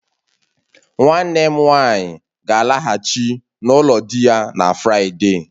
Nwanne m nwanyi ga-alaghachi n'ulo di ya na Friday